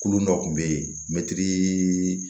Kulu dɔ kun bɛ yen mɛtiri